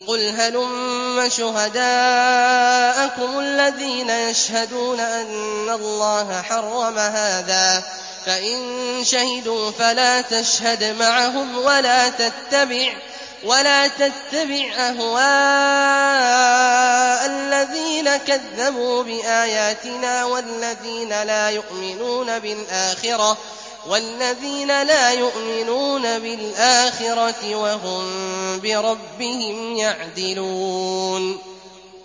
قُلْ هَلُمَّ شُهَدَاءَكُمُ الَّذِينَ يَشْهَدُونَ أَنَّ اللَّهَ حَرَّمَ هَٰذَا ۖ فَإِن شَهِدُوا فَلَا تَشْهَدْ مَعَهُمْ ۚ وَلَا تَتَّبِعْ أَهْوَاءَ الَّذِينَ كَذَّبُوا بِآيَاتِنَا وَالَّذِينَ لَا يُؤْمِنُونَ بِالْآخِرَةِ وَهُم بِرَبِّهِمْ يَعْدِلُونَ